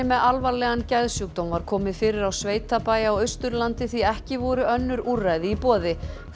með alvarlegan geðsjúkdóm var komið fyrir á sveitabæ á Austurlandi því ekki voru önnur úrræði í boði